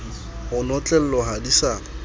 ho notlellwa ha di sa